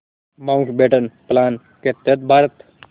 Mountbatten plan के तहत भारत